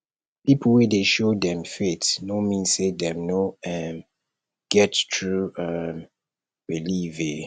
pipo wey dey show dem faith no mean say dem no um get true um belief um